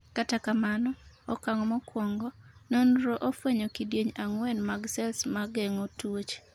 kata kamano, okang' mokwongo ,nonro ofwenyo kidieny ang'wen mag sels ma geng'o tuoche